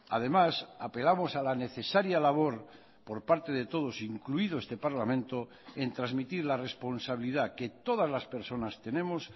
además apelamos a la necesaria labor por parte de todos incluido este parlamento en transmitir la responsabilidad que todas las personas tenemos